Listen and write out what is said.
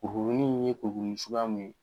Kurukurunin in ye kurukurunin suguya mun ye